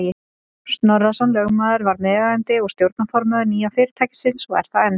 Snorrason lögmaður varð meðeigandi og stjórnarformaður nýja fyrirtækisins og er það enn.